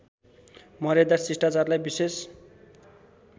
मर्यादा शिष्टाचारलाई विशेष